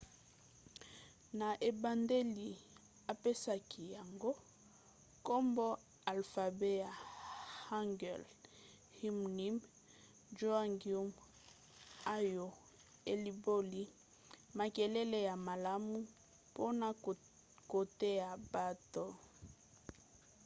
na ebandeli apesaki yango nkombo alfabe ya hangeul hunmin jeongeum oyo elimboli makelele ya malamu mpona koteya bato